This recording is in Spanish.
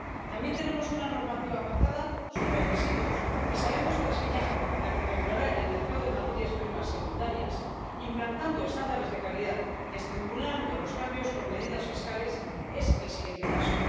También tenemos una normativa avanzada sobre residuos, y sabemos que diseñar la que regulará el mercado de materias primas secundarias, implantando estándares de calidad y estimulando los cambios con medidas fiscales, es el siguiente paso.